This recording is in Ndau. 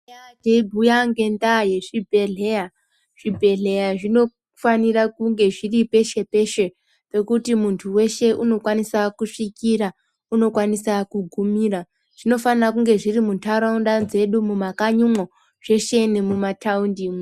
Tanga teibhuya ngenda yezvibhedhlera , zvibhedhlera zvinofanira kunge zviri peshe peshe zvekuti muntu weshe unokwanisa kusvira unokwanisa kugumira ,zvinofanira kunge zviri muntaraunda dzedumwo mumakanyimwo zveshe nemumataunti mwo.